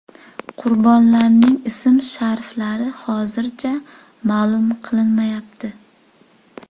Qurbonlarning ism-shariflari hozircha ma’lum qilinmayapti.